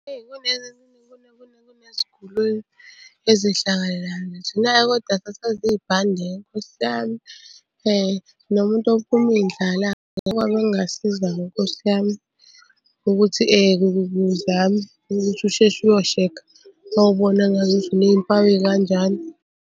Kuneziguli la kodwa sasazi ibhande-ke Nkosi yami, nomuntu ophuma iy'ndlala okwabe kungasiza-ke nkosi yami ukuthi uzame ukuthi usheshe uyoshekha wawubona ngazuthi uney'mpawu ey'kanjalo.